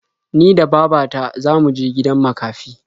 Ni da baba ta za mu je gidan makafi.